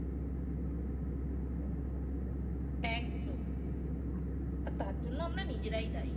একদম আর তার জন্য আমরা নিজেরাই দায়ী